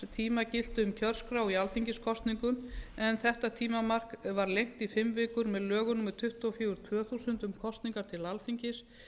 tíma gilti um kjörskrá í alþingiskosningum en þetta tímamark var lengt í fimm vikur með lögum númer tuttugu og fjögur tvö þúsund um kosningar til alþingis